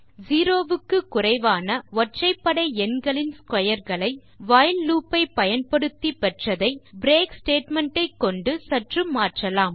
0 க்கு குறைவான ஒற்றைபடை எண்களின் ஸ்க்வேர் களை வைல் லூப் ஐ பயன்படுத்தி பெற்றதை பிரேக் ஸ்டேட்மெண்ட் ஐ கொண்டு சற்று மாற்றலாம்